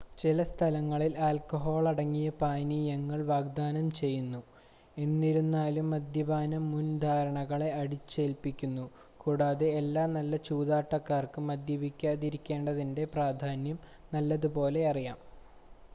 ചില സ്ഥലങ്ങളിൽ ആൽക്കഹോളടങ്ങിയ പാനീയങ്ങൾ വാഗ്ദാനം ചെയ്യുന്നു എനിരുന്നാലും മദ്യപാനം മുൻധാരണകളെ അടിച്ചേൽപ്പിക്കുന്നു കൂടാതെ എല്ലാ നല്ല ചൂതാട്ടക്കാർക്കും മദ്യപിക്കാതിരികേണ്ടതിൻ്റെ പ്രാധാന്യം നല്ലതുപോലെ അറിയാം